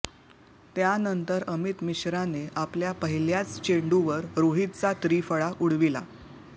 त्यानंतर अमित मिश्राने आपल्या पहिल्याच चेंडूवर रोहितचा त्रिफळा उडविला